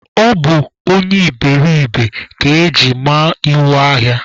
Ọ bụ onye iberiribe ka eji ma iwu ahịa